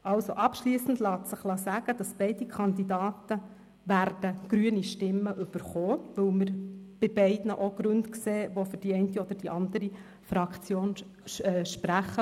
Abschliessend lässt sich sagen, dass beide Kandidaten grüne Stimmen bekommen werden, weil wir bei beiden auch Gründe sehen, die für die eine oder andere Fraktion sprechen.